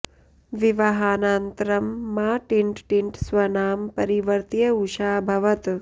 विवाहानन्तरं मा टिण्ट टिण्ट स्वनाम परिवर्त्य उषा अभवत्